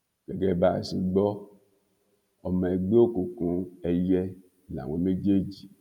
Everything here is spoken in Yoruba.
gẹgẹ bá a ṣe gbọ ọmọ ẹgbẹ òkùnkùn èìyẹ làwọn méjèèjì